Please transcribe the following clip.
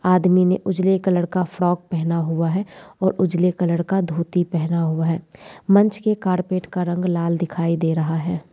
आदमी ने उजले कलर का फ्रॉक पहना हुआ है और उजले कलर का धोती पहना हुआ है मंच के कारपेट का रंग लाल दिखाई दे रहा है।